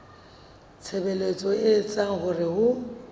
tshebetso e etsang hore ho